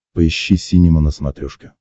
поищи синема на смотрешке